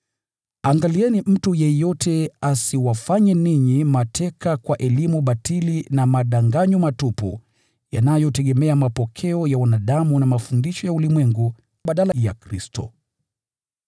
Angalieni mtu yeyote asiwafanye ninyi mateka kwa elimu batili na madanganyo matupu yanayotegemea mapokeo ya wanadamu na mafundisho ya ulimwengu badala ya Kristo.